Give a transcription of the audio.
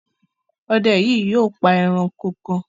Ọdẹ yìí yóò pa ẹranko kan